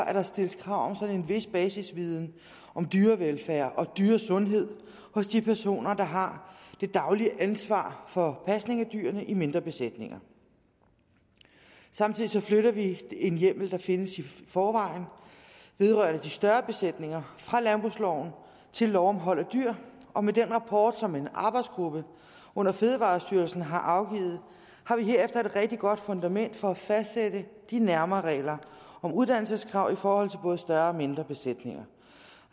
at der stilles krav om en vis basisviden om dyrevelfærd og dyresundhed hos de personer der har det daglige ansvar for pasning af dyrene i mindre besætninger samtidig flytter vi en hjemmel der findes i forvejen vedrørende de større besætninger fra landbrugsloven til lov om hold af dyr og med den rapport som en arbejdsgruppe under fødevarestyrelsen har afgivet har vi herefter et rigtig godt fundament for at fastsætte de nærmere regler om uddannelseskrav i forhold til både større og mindre besætninger